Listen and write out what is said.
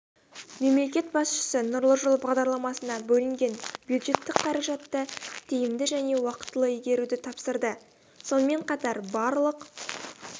мемлекет басшысы нұрлы жол бағдарламасына бөлінген бюджеттік қаражатты тиімді және уақытылы игеруді тапсырды сонымен қатар барлық